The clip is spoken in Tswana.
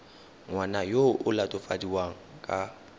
ngwana yo o latofadiwang ka